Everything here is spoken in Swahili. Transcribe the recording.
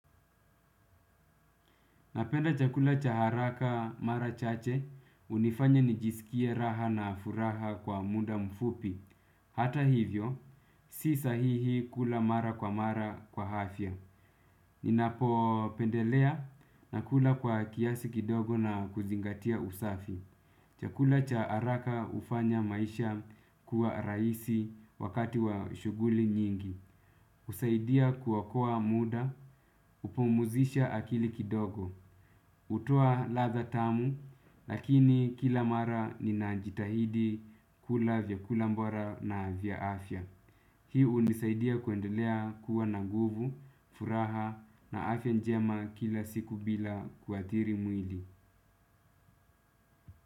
Napenda chakula cha haraka mara chache, hunifanya nijisikie raha na furaha kwa muda mfupi. Hata hivyo, si sahihi kula mara kwa mara kwa hafya. Ninapo pendelea nakula kwa kiasi kidogo na kuzingatia usafi. Chakula cha haraka hufanya maisha kuwa rahisi wakati wa shuguli nyingi. Husaidia kuokoa muda, hupumuzisha akili kidogo. Hutoa ladha tamu, lakini kila mara ninajitahidi kula vyakula mbora na vya afya. Hii hunisaidia kuendelea kuwa na nguvu, furaha na afya njema kila siku bila kuathiri mwili.